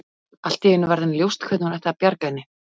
Allt í einu varð henni ljóst hvernig hún ætti að bjarga henni.